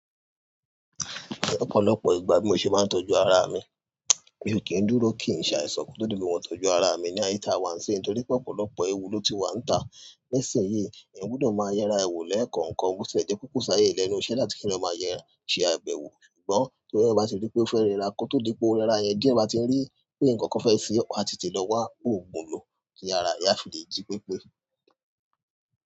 Ọ̀pọ̀lọpọ̀ ìgbà bí mo ṣe máa ń tọ́jú ara mi, mi ò kí ń dúró kí ń ṣàìsàn kí n tó rí bí mo ṣe máa ń tọ́jú ara mi ní àyetá wa ń ṣin, nítorí pé ọ̀pọ̀lọpọ̀ ewu ló ti wà níta. Nisinyi eyan gbudọ maa ye ara re wo lekankan botie je wípé ko si ayé lẹ́nu iṣẹ́ láti pe ki eyan maa ṣe abẹwo. Ṣùgbọ́n tó bá ti rí pé ó fẹ́ rẹra kó tó rí pé ó rẹra yẹn, díẹ̀ bá ti rí pé ǹkan kan fẹ́ ṣe ọ́, a ti lè lọ wá òògùn lò kí ara ìyá fi lè jí pépé.